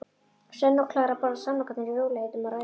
Svenni og Klara borða samlokurnar í rólegheitum og ræða margt.